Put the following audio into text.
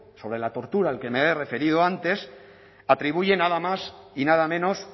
sobre la tortura al que me he referido antes atribuye nada más y nada menos